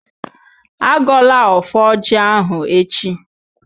Agọla ọfọ ọjị ahụ echi!